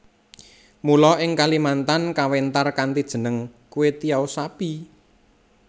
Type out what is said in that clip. Mula ing Kalimantan kawentar kanthi jeneng Kwetiau Sapi